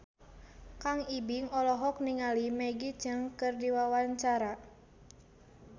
Kang Ibing olohok ningali Maggie Cheung keur diwawancara